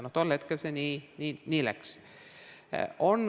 Tol hetkel see nii läks.